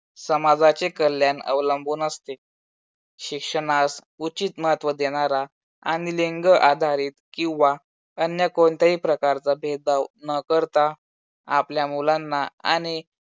समाजाचे कल्याण अवलंबून असते. शिक्षणास उचित महत्त्व देणारा आणि लिंग आधारित किंवा अन्य कोणत्याही प्रकारचा भेदभाव न करता आपल्या मुलांना आणि